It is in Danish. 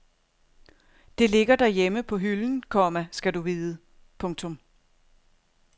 Det ligger derhjemme på hylden, komma skal du vide. punktum